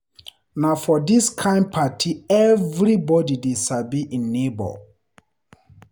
Na for dis kain party everybodi dey sabi im nebo.